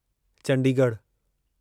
चंडीगढ़ु